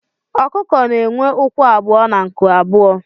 Ọkụkọ na enwe ụkwụ abụọ na nku abụọ